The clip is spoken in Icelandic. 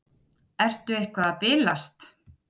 Ertu eitthvað að bilast?